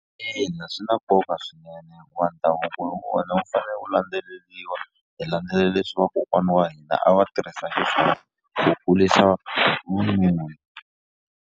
Ina swi na nkoka swinene hikuva ndhavuko wa wena wu fanele wu landzeleriwa hi landzelela leswi vakokwana wa hina a wa tirhisa ku kurisa vununa.